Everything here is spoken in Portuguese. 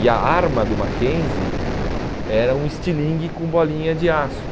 E a arma do Mackenzie era um estilingue com bolinha de aço.